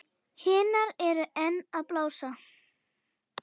Hinar eru enn að blása.